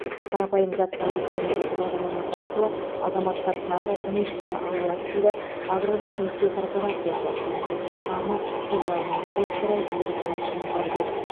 қарапайым заттар экономикасы бағдарламасы арқылы азаматтар тағы несие ала алады дейді аграрлық несие корпорациясы акционерлік қоғамы филиалының директоры ерболат оңғарбек